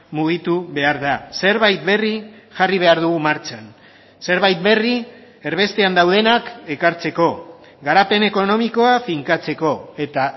mugitu behar da zerbait berri jarri behar dugu martxan zerbait berri erbestean daudenak ekartzeko garapen ekonomikoa finkatzeko eta